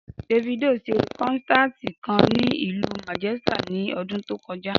Davido s̩e kó̩nsáàtì kan ní ìlú Manchester in o̩dún tó ko̩já